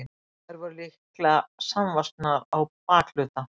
Þær voru líklega samvaxnar á bakhluta.